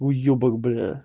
уёбок блядь